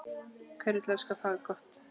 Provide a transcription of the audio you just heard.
Hver vill elska fagott?